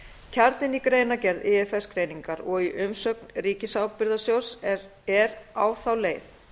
kjarninn í greinargerð ifs greiningar og í umsögn ríkisábyrgðasjóðs er á þá leið